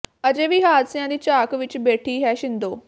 ਅਜੇ ਵੀ ਹਾਦਸਿਆਂ ਦੀ ਝਾਕ ਵਿਚ ਬੈਠੀ ਹੈ ਛਿੰਦੋ